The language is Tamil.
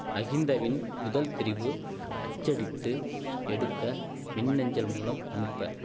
மகிந்தவின் முதல்தெரிவு அச்சடித்து எடுக்க மின் அஞ்சல் மூலம் அனுப்ப